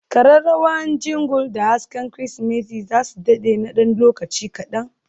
kararrawa Jingle da hasken Kirsimeti za su dade na ɗan lokaci kaɗan.